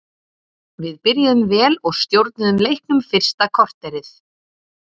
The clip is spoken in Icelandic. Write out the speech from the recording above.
Við byrjuðum vel og stjórnuðum leiknum fyrsta korterið.